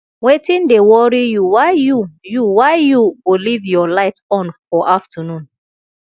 wetin dey worry you why you you why you go live your light on for afternoon